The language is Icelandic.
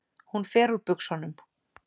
Hún fer úr buxunum.